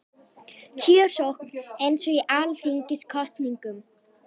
Kjörsókn eins og í alþingiskosningum